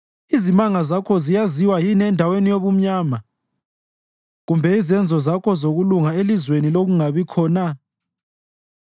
Izimanga zakho ziyaziwa yini endaweni yobumnyama, kumbe izenzo zakho zokulunga elizweni lokungabikho na?